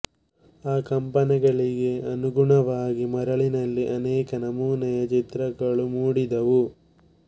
ಆ ಕಂಪನಗಳಿಗೆ ಅನುಗುಣವಾಗಿ ಮರಳಿನಲ್ಲಿ ಅನೇಕ ನಮೂನೆಯ ಚಿತ್ರಗಳು ಮೂಡಿದವು